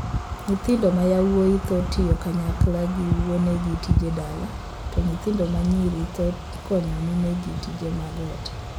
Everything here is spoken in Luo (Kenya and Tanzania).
Nyithindo ma yawuoyi thoro tiyo kanyakla kod wuonegi tije dala, to nyithindo ma nyiri thoro konyo minegi tije mag ot.